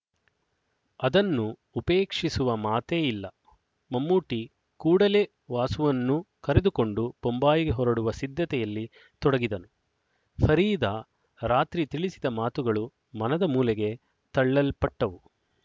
ಅದನ್ನು ಉಪೇಕ್ಷಿಸುವ ಮಾತೇ ಇಲ್ಲ ಮಮ್ಮೂಟಿ ಕೂಡಲೇ ವಾಸುವನ್ನೂ ಕರೆದುಕೊಂಡು ಬೊಂಬಾಯಿಗೆ ಹೊರಡುವ ಸಿದ್ಧತೆಯಲ್ಲಿ ತೊಡಗಿದನು ಫರೀದಾ ರಾತ್ರಿ ತಿಳಿಸಿದ ಮಾತುಗಳು ಮನದ ಮೂಲೆಗೆ ತಳ್ಳಲ್ಪಟ್ಟವು